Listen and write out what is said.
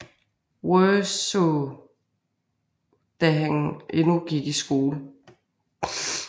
Worsaae da han endnu gik i skole